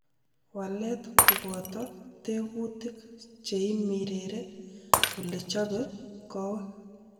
Walet koboto tekutik cheimirere olechobe kowek.